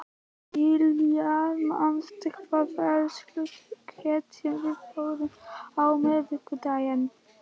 Tíalilja, manstu hvað verslunin hét sem við fórum í á miðvikudaginn?